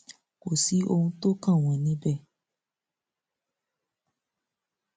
kò sí ohun tó kàn wọn níbẹ